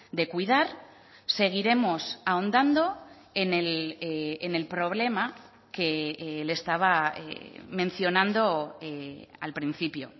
de cuidar seguiremos ahondando en el problema que le estaba mencionando al principio